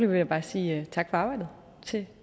vil jeg bare sige tak for arbejdet til